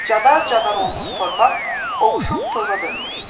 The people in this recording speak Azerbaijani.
Cadar-cadar olmuş torpaq ovuşub toza dönmüşdü.